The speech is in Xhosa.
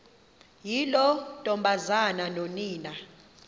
yiloo ntombazana nonina